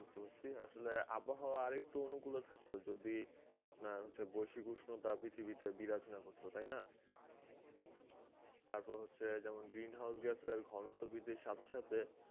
বুঝতে পারছি আসলে আবহাওয়া আরেকটু অনুকূলে থাকতো যদি আপনার হচ্ছে বৈশ্বিক উষ্ণতা পৃথিবীতে বিরাজ না করত তাই না? তারপর হচ্ছে green house gas এর ঘনত্ব বৃদ্ধির সাথে সাথে